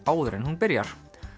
áður en hún byrjar